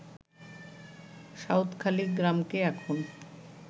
সাউদখালি গ্রামকে এখন